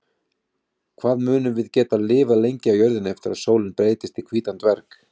Hvað munum við geta lifað lengi á jörðinni eftir að sólin breytist í hvítan dverg?